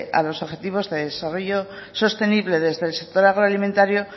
a los objetivos de desarrollo sostenible desde el sistema agroalimentario